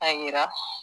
A yira